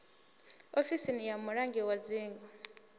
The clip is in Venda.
ofisi ya mulangi wa dzingu